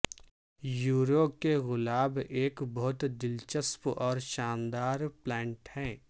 یریو کے گلاب ایک بہت دلچسپ اور شاندار پلانٹ ہے